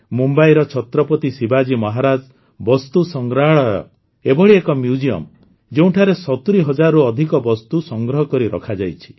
ମୁମ୍ବାଇର ଛତ୍ରପତି ଶିବାଜୀ ମହାରାଜ ବସ୍ତୁ ସଂଗ୍ରହାଳୟ ଏଭଳି ଏକ ମ୍ୟୁଜିୟମ୍ ଯେଉଁଠାରେ ସତୁରୀ ହଜାରରୁ ଅଧିକ ବସ୍ତୁ ସଂଗ୍ରହ କରି ରଖାଯାଇଛି